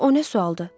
O nə sualdır?